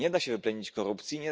Nie da się wyplenić korupcji.